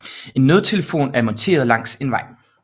En nødtelefon er monteret langs en vej